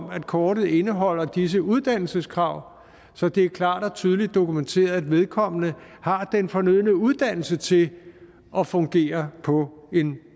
at kortet indeholder disse uddannelseskrav så det er klart og tydeligt dokumenteret at vedkommende har den fornødne uddannelse til at fungere på en